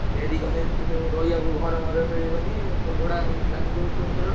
ଡେରି କନେ ସେଠି ସବୁ ଘର ମର ମିଳିବନି ସବୁ ଭଡା ଲାଗିଯିବ hotel ଫୋଟେଲ୍‌।